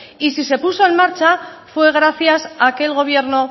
y si se puso en marcha fue gracias a que el gobierno